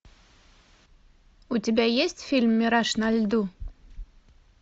у тебя есть фильм мираж на льду